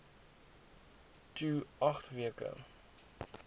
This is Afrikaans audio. to agt weke